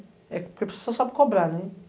Porque você só sabe cobrar, né?